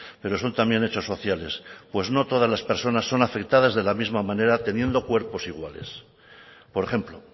pero son también hechos sociales pues no todas las personas son afectadas de la misma manera teniendo cuerpos iguales por ejemplo